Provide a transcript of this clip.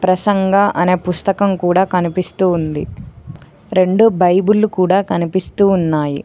ప్రసంగ అనే పుస్తకం కూడా కనిపిస్తూ ఉంది రెండు బైబుల్లు కూడా కనిపిస్తూ ఉన్నాయి.